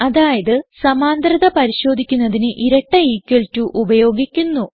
അതായത് സമാന്തരത പരിശോധിക്കുന്നതിന് ഇരട്ട ഇക്വൽ ടോ ഉപയോഗിക്കുന്നു